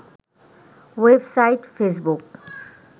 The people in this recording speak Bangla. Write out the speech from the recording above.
web site Facebook